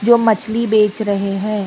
जो मछली बेच रहे हैं।